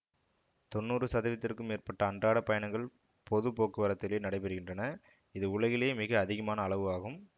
தொன்னூறுசதவிததுக்கு மேற்பட்ட அன்றாடப் பயணங்கள் பொது போக்குவரத்திலேயே நடைபெறுகின்றன இது உலகிலேயே மிக அதிகமான அளவு ஆகும்